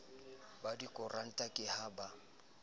ba dikoranta ke ha ba